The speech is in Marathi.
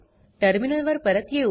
टर्मिनल वर परत येऊ